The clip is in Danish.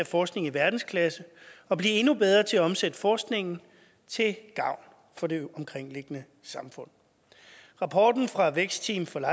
forskning i verdensklasse og blive endnu bedre til at omsætte forskningen til gavn for det omkringliggende samfund rapporten fra vækstteamet for